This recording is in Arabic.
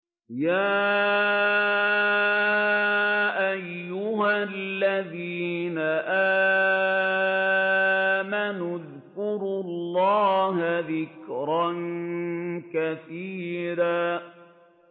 يَا أَيُّهَا الَّذِينَ آمَنُوا اذْكُرُوا اللَّهَ ذِكْرًا كَثِيرًا